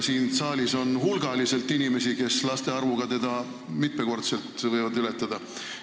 Siin saalis on hulgaliselt inimesi, kes teda laste arvult mitmekordselt ületavad.